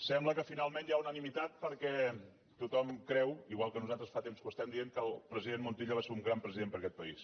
sembla que finalment hi ha unanimitat perquè tothom creu igual que nosaltres fa temps que ho diem que el president montilla va ser un gran president per a aquest país